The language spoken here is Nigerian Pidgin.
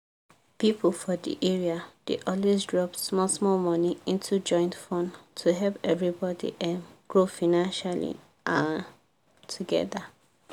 people for the area dey always drop small small money into joint fund to help everybody um grow financially um together.